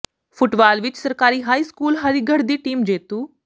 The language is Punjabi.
ਫੁੱਟਬਾਲ ਵਿੱਚ ਸਰਕਾਰੀ ਹਾਈ ਸਕੂਲ ਹਰੀਗੜ੍ਹ ਦੀ ਟੀਮ ਜੇਤੂ